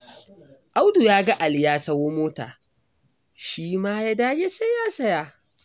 Audu ya ga Ali ya sayo mota, shi ma ya dage sai ya saya.